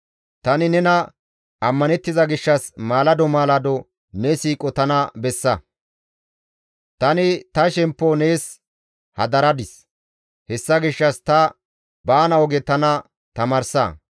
Tani nena ammanettiza gishshas maalado maalado ne siiqo tana bessa; tani ta shemppo nees hadaradis; hessa gishshas ta baana oge tana tamaarsa.